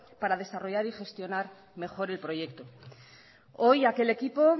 para desarrollar y gestionar mejor el proyecto hoy aquel equipo